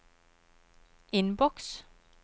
innboks